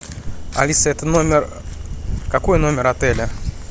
алиса это номер какой номер отеля